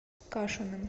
кашиным